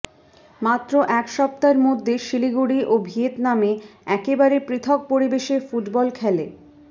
মাত্র এক সপ্তাহের মধ্যে শিলিগুড়ি ও ভিয়েতনামে একেবারে পৃথক পরিবেশে ফুটবল খেলে